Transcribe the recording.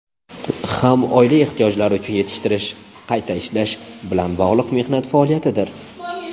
ham oila ehtiyojlari uchun yetishtirish (qayta ishlash) bilan bog‘liq mehnat faoliyatidir.